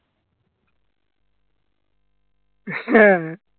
হ্যাঁ